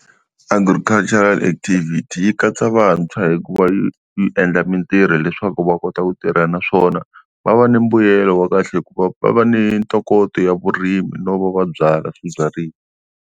Agricultural activity yi katsa vantshwa hikuva yi yi endla mintirho leswaku va kota ku tirha naswona va va ni mbuyelo wa kahle hikuva va va ni ntokoto ya vurimi no va byala swibyariwa.